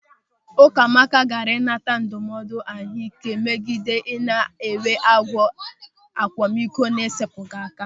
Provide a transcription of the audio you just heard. Ụkamaka gaara ịnata ndụmọdụ ahụike megide ị na-enwe agụ akwamiko na-esepụghị aka.